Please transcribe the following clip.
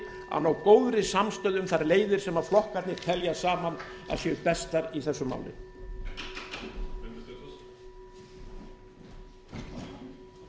að ná góðri samstöðu um þær leiðir sem flokkarnir telja saman að séu bestar í þessu máli